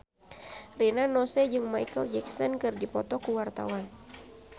Rina Nose jeung Micheal Jackson keur dipoto ku wartawan